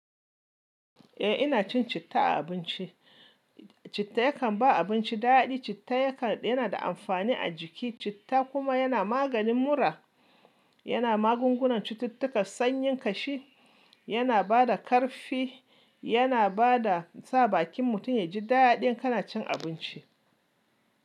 Eh ina cin citta a abinci. Citta yakan ba abinci daɗi, citta yana da amfani a jiki. Citta kuma yana maganin mura, yana magungunan cututtukan sanyin kashi, yana bada ƙarfi, yana bada sa bakin mutum ya ji daɗin kana cin abinci.